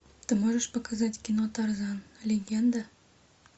ты можешь показать кино тарзан легенда